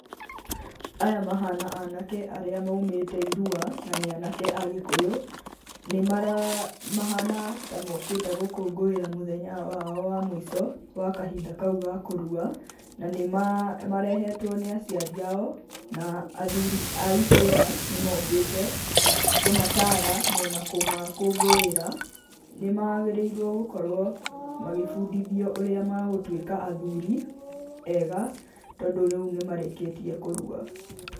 Aya mahana anake arĩa maũmĩte irua, na nĩ anake agĩkuyũ mahana ta mũkĩte gũkũngũĩra mũthenya wao wamũico wa kahinda kaũ ga kũrua na nĩmarehetwo nĩ aciari ao na athuri mũkĩte matara magũkũngũra, nĩmagĩrĩire gũkorwo makĩonia ũrĩa megũtũĩka athuri ega tondũ rĩũ nĩmarĩkĩtie kũrua.